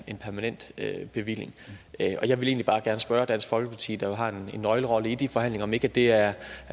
en permanent bevilling jeg vil egentlig bare gerne spørge dansk folkeparti der jo har en nøglerolle i de forhandlinger om ikke det er